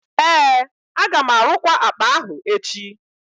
ee, aga m arụkwa akpa ahụ echi